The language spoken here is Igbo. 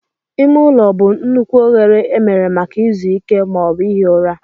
Ime ụlọ bụ nnukwu oghere emere maka izu ike ma ọ bụ ihi ụra.